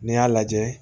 N'i y'a lajɛ